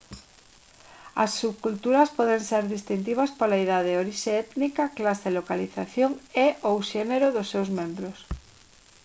as subculturas poden ser distintivas pola idade orixe étnica clase localización e/ou xénero dos seus membros